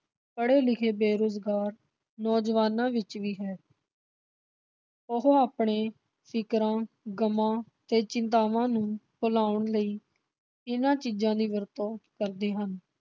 ਪੜੇ ਲਿਖੇ ਬੇਰੁਜ਼ਗਾਰ ਨੌਜਵਾਨਾਂ ਵਿਚ ਵੀ ਹੈ। ਉਹ ਆਪਣੇ ਫਿਕਰਾਂ, ਗਮਾ ਤੇ ਚਿੰਤਾਵਾਂ ਨੂੰ ਭੁਲਾਉਣ ਲਈ ਇਨ੍ਹਾਂ ਚੀਜਾਂ ਦੀ ਵਰਤੋਂ ਕਰਦੇ ਹਨ।